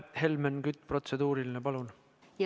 Helmen Kütt, protseduuriline, palun!